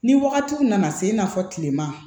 Ni wagatiw nana se i n'a fɔ kilema